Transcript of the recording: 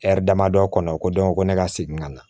damadɔ kɔnɔ o ko ko ne ka segin ka na